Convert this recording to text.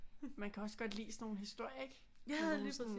Man kan også godt lide sådan nogle historier ikke med nogle sådan